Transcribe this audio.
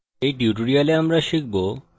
in tutorial আমরা শিখব